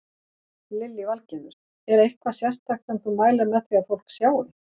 Lillý Valgerður: Er eitthvað sérstakt sem þú mælir með því að fólk sjái?